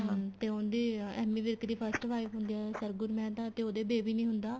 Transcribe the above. ਹਮ ਤੇ ਉਹਦੀ ਏਮੀ ਵਿਰਕ ਦੀ first wife ਹੁੰਦੀ ਏ ਸਰਗੁਣ ਮਹਿਤਾ ਤੇ ਉਹਦੇ baby ਨੀ ਹੁੰਦਾ